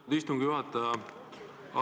Aitäh, istungi juhataja!